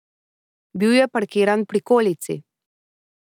Bil je parkiran v prikolici.